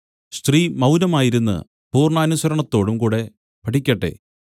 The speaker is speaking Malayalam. സ്ത്രീ മൗനമായിരുന്ന് പൂർണ്ണാനുസരണത്തോടും കൂടെ പഠിക്കട്ടെ